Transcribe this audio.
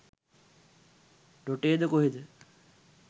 ඩොටේද කොහෙද?